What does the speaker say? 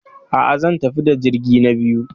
A'a, zan tafi da jirgi na biyu.